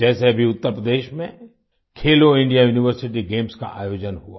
जैसे अभी उत्तर प्रदेश में खेलो इंडिया यूनिवर्सिटी गेम्स का आयोजन हुआ